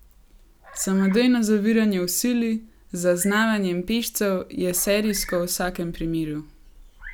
Samodejno zaviranje v sili, z zaznavanjem pešcev, je serijsko v vsakem primeru.